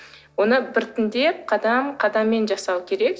оны біртіндеп қадам қадаммен жасау керек